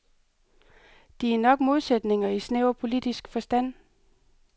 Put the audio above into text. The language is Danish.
De er nok modsætninger i snæver politisk forstand.